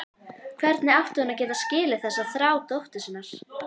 Hvernig átti hún að geta skilið þessa þrá dóttur sinnar?